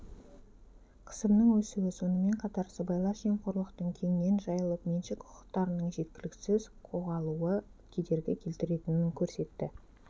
қысымның өсуі сонымен қатар сыбайлас жемқорлықтың кеңінен жайылып меншік құқықтарының жеткіліксіз қоғалуы кедергі келтіретінін көрсетті